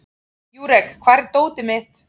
Júrek, hvar er dótið mitt?